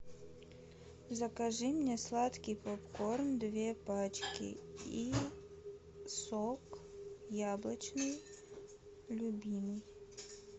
закажи мне сладкий попкорн две пачки и сок яблочный любимый